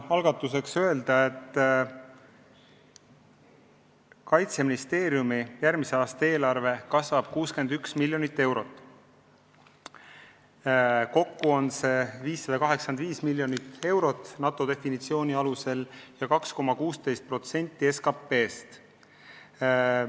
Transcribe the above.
Alustuseks tahan öelda, et Kaitseministeeriumi järgmise aasta eelarve kasvab 61 miljonit eurot, kokku on see 585 miljonit eurot NATO definitsiooni kohaselt ja 2,16% SKP-st.